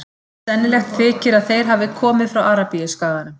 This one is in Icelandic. Sennilegt þykir að þeir hafi komið frá Arabíuskaganum.